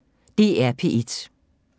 DR P1